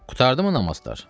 Qurtardımı namazlar?